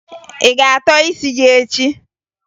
Ị ga-atọ isi gị echi?